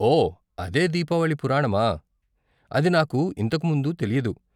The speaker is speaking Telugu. ఓ, అదే దీపావళి పురాణమా. అది నాకు ఇంతకు ముందు తెలియదు.